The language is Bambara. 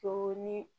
To ni